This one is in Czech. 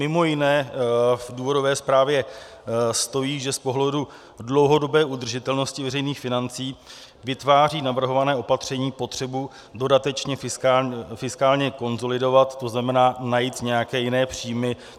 Mimo jiné v důvodové zprávě stojí, že z pohledu dlouhodobé udržitelnosti veřejných financí vytváří navrhované opatření potřebu dodatečně fiskálně konsolidovat, to znamená najít nějaké jiné příjmy.